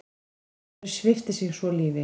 Maðurinn svipti sig svo lífi.